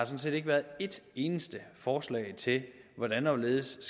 set ikke været et eneste forslag til hvordan og hvorledes